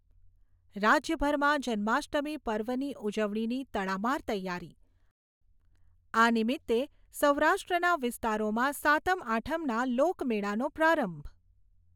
રાજ્યભરમાં જન્માષ્ટમી પર્વની ઉજવણીની તડામાર તૈયારી. આ નિમિત્તે સૌરાષ્ટ્રના વિસ્તારોમાં સાતમ આઠમના લોકમેળાનો પ્રારંભ.